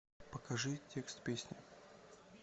покажи текст песни